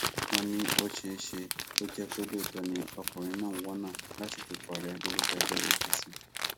wọn ní ó ṣeé ṣe kó jẹ pé lóòótọ ni ọkùnrin náà ń wọnà láti dupò ààrẹ lórúkọ ẹgbẹ cs] apc